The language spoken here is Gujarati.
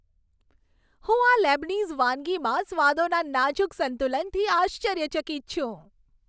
હું આ લેબનીઝ વાનગીમાં સ્વાદોના નાજુક સંતુલનથી આશ્ચર્યચકિત છું.